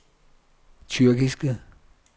tyrkiske